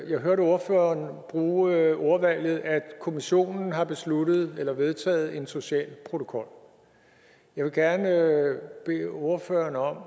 jeg hørte ordføreren bruge ordvalget at kommissionen har besluttet eller vedtaget en social protokol jeg vil gerne bede ordføreren om at